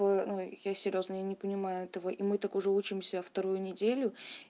ну я серьёзно я не понимаю этого и мы так уже учимся вторую неделю